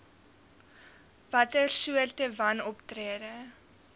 watter soorte wanoptrede